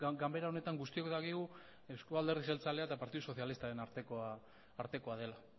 ganbara honetan guztiok dakigu eusko alderdi jeltzalea eta partidu sozialistaren artekoa dela